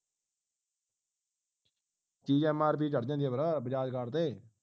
ਚੀਜ਼ mrp ਤੇ ਚੜ ਜਾਂਦੀ ਹੈ ਫੇਰ bajaj card ਤੇ